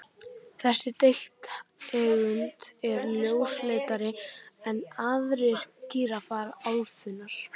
Þessi deilitegund er ljósleitari en aðrir gíraffar álfunnar.